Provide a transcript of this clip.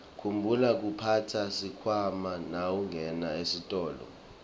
khumbula kuphatsa sikhwama nawungena esitolo